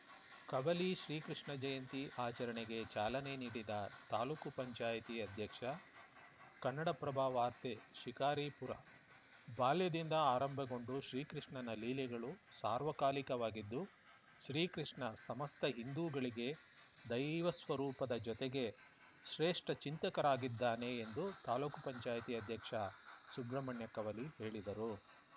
ಕವಲಿ ಶ್ರೀಕೃಷ್ಣ ಜಯಂತಿ ಆಚರಣೆಗೆ ಚಾಲನೆ ನೀಡಿದ ತಾಲೂಕು ಪಂಚಾಯತಿ ಅಧ್ಯಕ್ಷ ಕನ್ನಡಪ್ರಭ ವಾರ್ತೆ ಶಿಕಾರಿಪುರ ಬಾಲ್ಯದಿಂದ ಆರಂಭಗೊಂಡು ಶ್ರೀಕೃಷ್ಣನ ಲೀಲೆಗಳು ಸಾರ್ವಕಾಲಿಕವಾಗಿದ್ದು ಶ್ರೀಕೃಷ್ಣ ಸಮಸ್ತ ಹಿಂದೂಗಳಿಗೆ ದೈವ ಸ್ವರೂಪದ ಜೊತೆಗೆ ಶ್ರೇಷ್ಟಚಿಂತಕರಾಗಿದ್ದಾನೆ ಎಂದು ತಾಲೂಕು ಪಂಚಾಯತಿ ಅಧ್ಯಕ್ಷ ಸುಬ್ರಹ್ಮಣ್ಯ ಕವಲಿ ಹೇಳಿದರು